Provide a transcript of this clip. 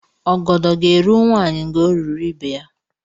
Ọgọdọ gá-eru nwanyị ngá o ruru ibe ya